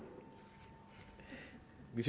i